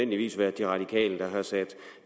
lysende klart er